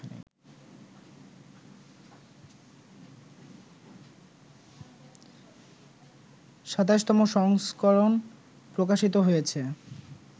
২৭তম সংস্করণ প্রকাশিত হয়েছে